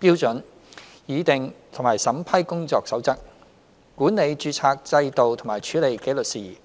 標準、擬訂和審批《工作守則》、管理註冊制度及處理紀律事宜。